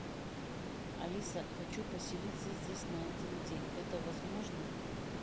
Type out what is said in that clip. алиса хочу поселиться здесь на один день это возможно